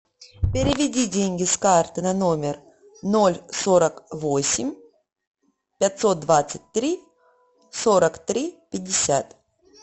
переведи деньги с карты на номер ноль сорок восемь пятьсот двадцать три сорок три пятьдесят